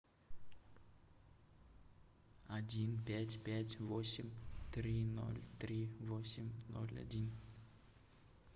один пять пять восемь три ноль три восемь ноль один